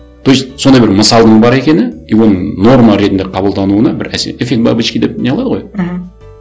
то есть сондай бір мысалдың бар екені и оны норма ретінде қабылдануына бір әсер эффект бабочки деп не қылады ғой мхм